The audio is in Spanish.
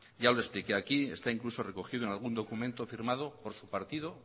ya lo explique aquí está incluso recogido en algún documento firmado por su partido